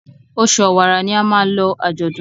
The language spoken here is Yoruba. Oṣù Ọ̀wàrà ní a má ló ajọdún.